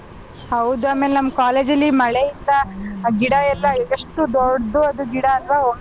ಹೌದು ಆಮೇಲೆ college ಅಲ್ಲಿ ಮಳೆಯಿಂದ ಆ ಗಿಡ ಎಲ್ಲ ಎಷ್ಟು ದೊಡ್ ದೊಡ್ ಗಿಡ ಅಲ್ವಾ.